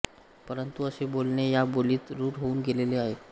परंतु असे बोलणे या बोलीत रूढ होऊन गेलेले आहे